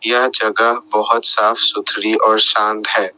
यह जगह बहोत साफ सुथरी और शांत है।